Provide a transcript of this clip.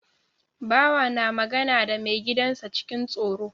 Bawa na magana da mai gidan sa cikin tsoro